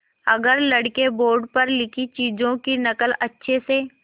अगर लड़के बोर्ड पर लिखी चीज़ों की नकल अच्छे से